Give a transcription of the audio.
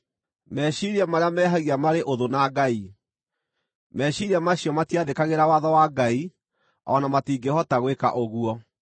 meciiria marĩa mehagia marĩ ũthũ na Ngai. Meciiria macio matiathĩkagĩra watho wa Ngai, o na matingĩhota gwĩka ũguo.